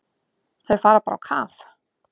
Þau fara bara á kaf.